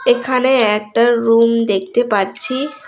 এখানে একটা রুম দেখতে পাচ্ছি।